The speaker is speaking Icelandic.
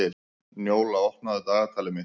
Njóla, opnaðu dagatalið mitt.